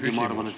Küsimus!